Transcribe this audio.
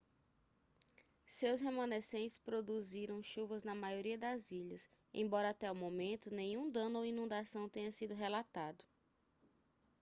seus remanescentes produziram chuvas na maioria das ilhas embora até o momento nenhum dano ou inundação tenha sido relatado